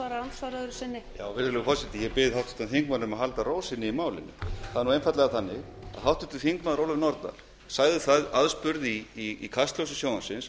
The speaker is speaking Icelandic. virðulegur forseti ég bið háttvirtan þingmann að halda ró sinni í málinu það er einfaldlega þannig að háttvirtir þingmenn ólöf nordal sagði aðspurð í kastljósi sjónvarpsins